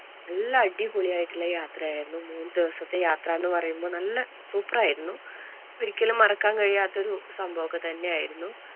നല്ല അടിപൊളിയായിട്ടുള്ള യാത്രയായിരുന്നു മൂന്ന് ദിവസത്തെ യാത്ര എന്ന് പറയുമ്പോൾ നല്ല super ആയിരുന്നു. ഒരിക്കലും മറക്കാൻ കഴിയാത്ത ഒരു സംഭവം ഒക്കെ തന്നെ ആയിരുന്നു.